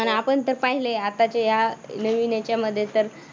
आणि आपण तर पाहिलय आताच्या या नवीन याच्यामध्ये तर